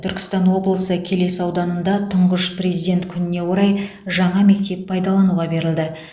түркістан облысы келес ауданында тұңғыш президент күніне орай жаңа мектеп пайдалануға берілді